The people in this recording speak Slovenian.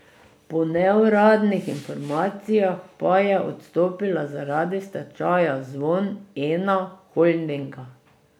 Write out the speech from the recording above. Po neuradnih informacijah pa je odstopila zaradi stečaja Zvon Ena Holdinga.